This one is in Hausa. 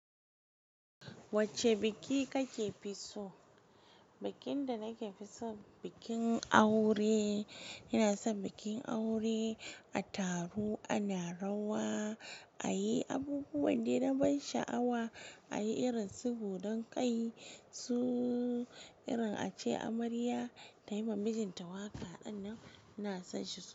Wacce biki kake fi so? Bakin da nake fi so, bikin aure. Ina son bikin aure, a taro ana rawa, ayi abubuwan da na ban sha'awa ayi irin su godan kai su irin ace amarya ta yi wa mijinta waƙa. Sannan ina son shi so.